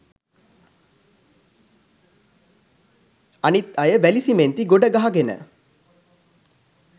අනිත් අය වැලි සිමෙන්ති ගොඩගහගෙන